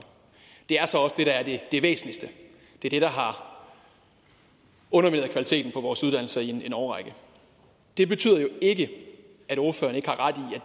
det er så også det der er det væsentligste det er det der har undermineret kvaliteten på vores uddannelser i en årrække det betyder jo ikke at ordføreren ikke har ret